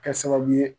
Kɛ sababu ye